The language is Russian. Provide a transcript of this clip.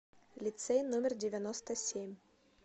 лицей номер девяносто семь